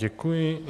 Děkuji.